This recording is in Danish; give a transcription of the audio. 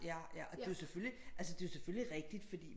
Ja ja og det er jo selvfølgelig altså det er jo selvfølgelig rigtigt fordi